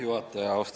Juhataja!